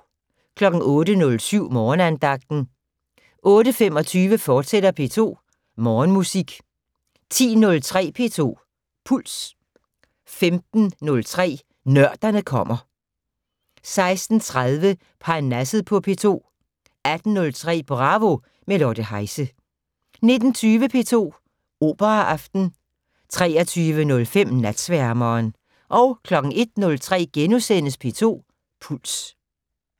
08:07: Morgenandagten 08:25: P2 Morgenmusik, fortsat 10:03: P2 Puls 15:03: Nørderne kommer 16:30: Parnasset på P2 18:03: Bravo - med Lotte Heise 19:20: P2 Operaaften 23:05: Natsværmeren 01:03: P2 Puls *